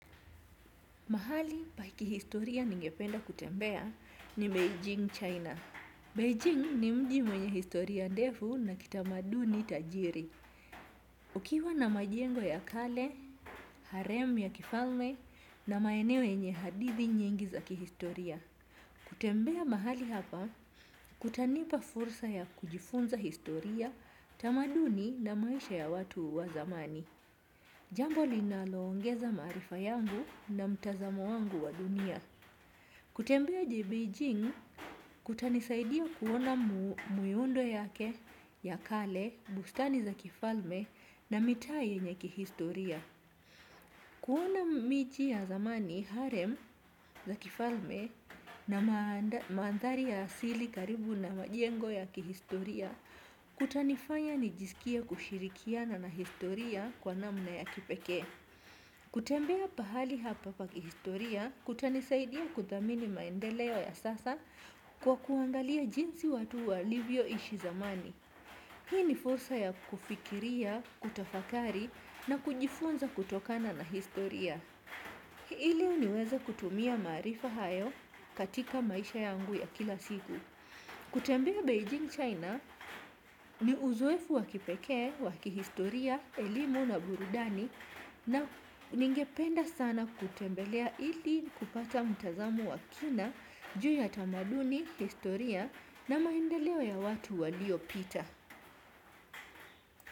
Mahali pa kihistoria ningependa kutembea ni Beijing, China. Beijing ni mji mwenye historia ndefu na kitamaduni tajiri. Ukiwa na majengo ya kale, harem ya kifalme na maeneo yenye hadithi nyingi za kihistoria. Kutembea mahali hapa, kutanipa fursa ya kujifunza historia, tamaduni na maisha ya watu wa zamani. Jambo linaloongeza maarifa yangu na mtazamo wangu wa dunia. Kutembea Beijing kutanisaidia kuona miundo yake ya kale, bustani za kifalme na mitaa yenye kihistoria. Kuona miji ya zamani harem za kifalme na mandhari ya asili karibu na majengo ya kihistoria. Kutanifanya nijisikia kushirikiana na historia kwa namna ya kipekee. Kutembea pahali hapa pakihistoria kutanisaidia kuthamini maendeleo ya sasa kwa kuangalia jinsi watu walivyoishi zamani. Hii ni fursa ya kufikiria, kutafakari na kujifunza kutokana na historia ili niweze kutumia maarifa hayo katika maisha yangu ya kila siku. Kutembea Beijing China ni uzoefu wa kipekee, wa kihistoria, elimu na burudani na ningependa sana kutembelea ili kupata mtazamo wakina juu ya tamaduni, historia na maendeleo ya watu waliopita.